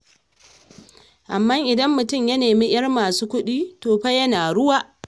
Amma idan mutum ya nemi 'yar masu kuɗi, to fa yana ruwa.